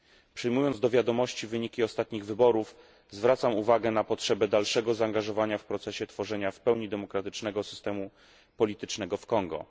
Przyjmując do wiadomości wyniki ostatnich wyborów, zwracam uwagę na potrzebę dalszego zaangażowania w proces tworzenia w pełni demokratycznego systemu politycznego w Kongo.